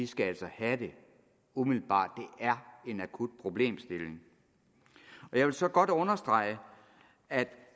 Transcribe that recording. skal have den umiddelbart det er en akut problemstilling jeg vil så godt understrege at